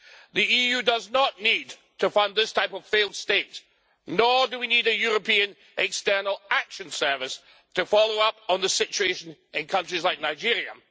The EU does not need to fund this type of failed state, nor do we need a European External Action Service to follow up on the situation in countries like Nigeria.